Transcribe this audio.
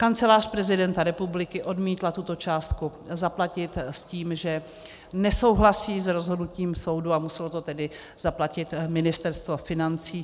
Kancelář prezidenta republiky odmítla tuto částku zaplatit s tím, že nesouhlasí s rozhodnutím soudu, a muselo to tedy zaplatit Ministerstvo financí.